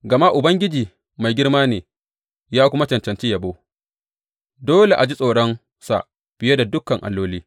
Gama Ubangiji mai girma ne ya kuma cancanci yabo; dole a ji tsoronsa fiye da dukan alloli.